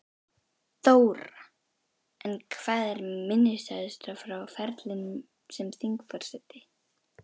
Þóra: En hvað er minnisstæðast frá ferlinum sem þingforseti?